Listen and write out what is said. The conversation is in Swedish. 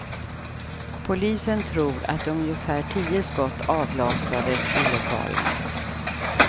Polisen tror att ungefär tio skott avlossades i lokalen.